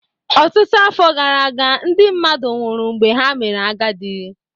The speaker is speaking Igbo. Ọtụtụ afọ gara aga, ndị mmadụ nwụrụ mgbe ha mere agadi